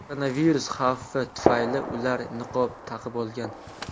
Koronavirus xavfi tufayli ular niqob taqib olgan.